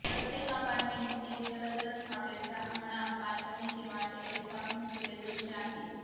प्रत्येक अपार्टमेंट एक जलतरण हॉटेलच्या अंगणात बाल्कनी किंवा टेरेस पासून खुले दृश्य आहे